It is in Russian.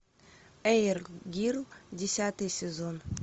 эйр гир десятый сезон